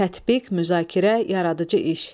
Tətbiq, müzakirə, yaradıcı iş.